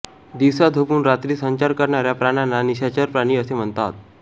दिवसा झोपून रात्री संचार करणाऱ्या प्राण्यांना निशाचर प्राणी असे म्हणतात